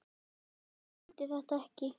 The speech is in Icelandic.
Lóa-Lóa skildi þetta ekki.